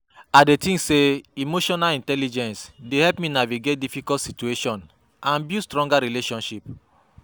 I dey think say emotional intelligence dey help me navigate difficult situations and build stronger relationships.